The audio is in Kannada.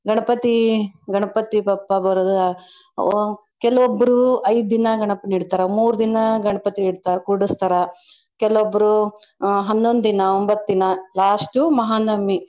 ಗಣಪತಿ ಗಣಪತಿ ಬಪ್ಪ ಬರೂದು, ಆ ಕೆಲವಬ್ಬರ್ರು ಐದ್ ದಿನಾ ಗಣಪನ ಇಡ್ತರಾ, ಮೂರ್ ದಿನಾ ಗಣಪತಿ ಇಡ್ತಾ ಕೂಡಿಸ್ತಾರ. ಕೆಲವಬ್ರು ಆ ಹನ್ನೊಂದ್ ದಿನಾ ಒಂಬತ್ ದಿನಾ last ಉ ಮಹಾನವಮಿ.